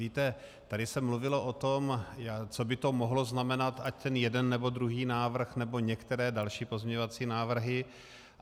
Víte, tady se mluvilo o tom, co by to mohlo znamenat, ať ten jeden, nebo druhý návrh, nebo některé další pozměňovací návrhy.